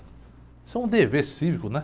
Isso é um dever cívico, né?